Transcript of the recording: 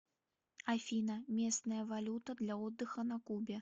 афина местная валюта для отдыха на кубе